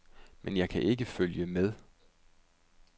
Men jeg kan ikke følge med.